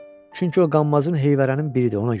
Çünki o qanmazın heyvərənin biridir, ona görə.